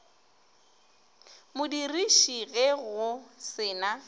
modiriši ge go se na